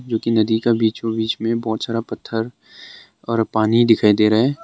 जो कि नदी का बीचो बीच में बहुत सारा पत्थर और पानी दिखाई दे रहा है।